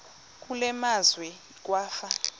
kule meazwe kwafa